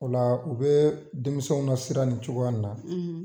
O la , u be denmisɛnw na sira nin cogoya na